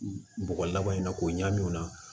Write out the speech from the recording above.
Bɔgɔ laban in na k'o ɲaŋ o la